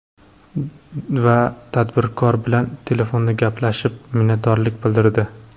Va tadbirkor bilan telefonda gaplashib, minnatdorlik bildirdi.